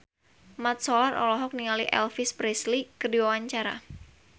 Mat Solar olohok ningali Elvis Presley keur diwawancara